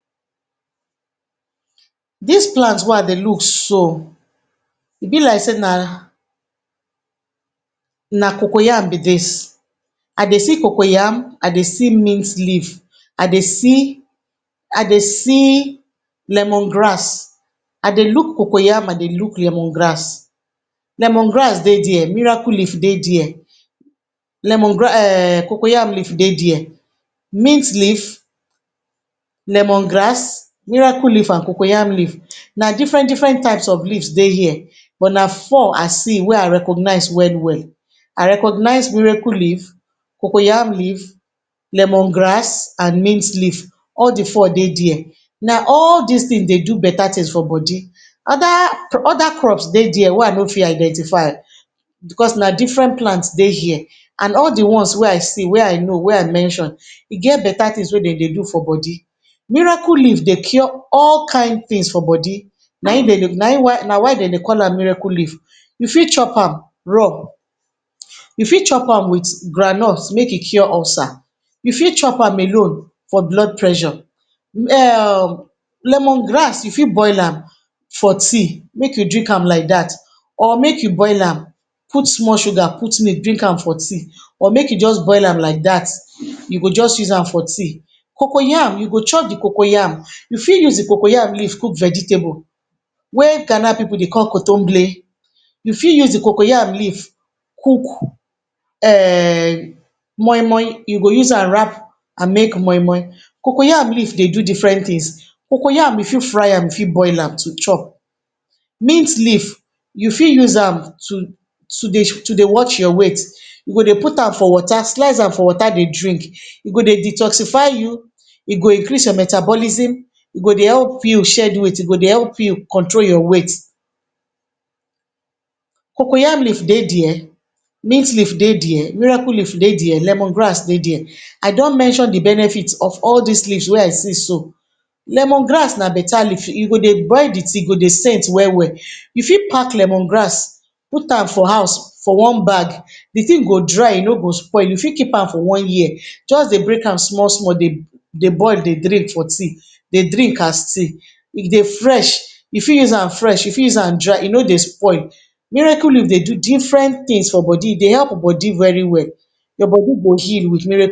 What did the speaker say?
Dis plant wey I dey look so, e be like sey na um na cocoa yam be dis. I dey see cocoa yam, I dey see mint leaf, I dey see I dey see lemon grass. I dey look cocoa yam, I dey look lemon grass. Lemon grass dey there, miracle leaf dey there, lemon um cocoa yam leaf dey there. Mint leaf, lemon grass, miracle leaf and cocoa yam leaf. Na different different types of leaves dey here. But na four I see wey I recognize well well. I recognize miracle leaf, cocoa yam leaf, lemon grass, and mint leaf. All di four dey there. Na all dis things dey do beta things for body. Other other crops dey there we I no fit I dentify, because na different plants dey here, and all di ones wey I see, wey I know, wey I mention, e get beta things wey dem dey do for body. Miracle leaf dey cure all kain things for body. Na im dem dey, na im why, na why dem dey call miracle leaf. You fit chop am raw, you fit chop am with groundnut make e cure ulcer, you fit chop am alone for blood pressure. um Lemon grass you fit boil am for tea make you drink am like dat, or make you boil am put small sugar put milk drink am for tea, or make you just boil am like dat, you go just use am for tea. Cocoa yam, you go chop di cocoa yam. You fit use di cocoa yam leaf cook vegetable wey Ghana pipu dey call. You fit use di cocoa yam leaf cook um moi moi. You go use am wrap and make moi moi. Cocoa yam leaf dey do different things. Cocoa yam you fit fry am you fit boil am to chop. Mint leaf you fit use am to to dey to dey watch your weight. You go dey put am for water, slice am for water dey drink. E go dey detoxify you, e go increase your metabolism, e go dey help you shed weight, e go dey control your weight. Cocoa yam leaf dey there, mint leaf dey there, miracle leaf dey there, lemon grass dey there. I don mention di benefits of all dis leaves wey I see so. Lemon grass na beta leaf. You go dey boil di tea e go dey scent well well. You fit pack lemon grass put am for house for one bag. Di thing go dry e no go spoil. You fit keep am for one year. Just dey break am small small dey dey boil dey drink for tea, dey drink as tea. If dey fresh. You fit use am fresh, you fit use am dry, e no dey spoil. Miracle leaf dey do different things for body, e dey help body very well. Your body go heal with.